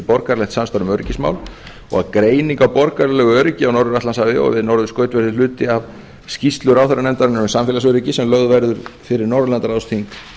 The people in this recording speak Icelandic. borgaralegt samstarf um öryggismál og að greining á borgaralegu öryggi á norður atlantshafi og við norðurskaut verði hluti af skýrslu ráðherranefndarinnar um samfélagsöryggi sem lögð verður fyrir norðurlandaráðsþing